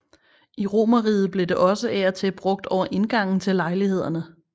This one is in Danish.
I romerriget blev det også af og til brugt over indgangen til lejlighederne